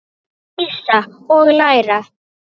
Dísa: Og læra.